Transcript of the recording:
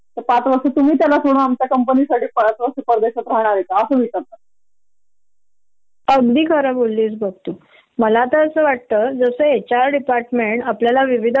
आग आपल्या इथे कुठले प्रोजेक्ट चालू असेल आणि जर तुम्हाला कळल की ही लेडीज प्रेगनेन्ट आहे तर तिला सबब लांब च ठेवल्या जात म्हणजे तिला त्या प्रोजेक्ट च्या साध डिसकशन सुद्धा काय मध्ये सुद्धा बोलावल जात नाही कारण ही